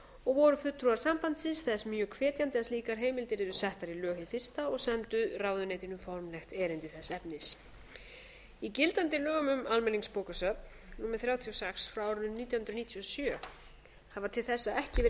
og voru fulltrúar sambandsins þess mjög hvetjandi að slíkar heimildir yrðu settar í lög hið fyrsta og sendu ráðuneytinu formlegt erindi þess efnis í gildandi lögum um almenningsbókasöfn númer þrjátíu og sex nítján hundruð níutíu og sjö það var til þess að ekki var nein